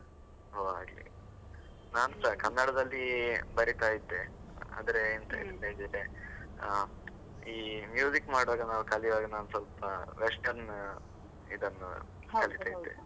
ಓಹ್ ಹಾಗೆ, ನಾನ್ ಸಹ ಕನ್ನಡದಲ್ಲಿ ಬರೆತಾ ಇದ್ದೆ, ಆದ್ರೆ ಎಂತ ಆ ಈ ಮಾಡುವಾಗ ನಾನು ಕಲಿಯುವಾಗ ನಾನು ಸ್ವಲ್ಪ western ಇದನ್ನು .